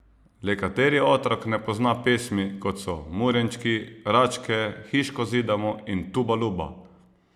Le kateri otrok ne pozna pesmi, kot so Murenčki, Račke, Hiško zidamo in Tuba Luba?